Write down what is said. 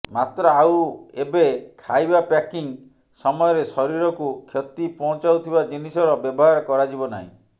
ମାତ୍ର ଆଉ ଏବେ ଖାଇବା ପ୍ୟାକିଂ ସମୟରେ ଶରୀରକୁ କ୍ଷତି ପହଞ୍ଚାଉଥିବା ଜିନିଷର ବ୍ୟବହାର କରାଯିବ ନାହିଁ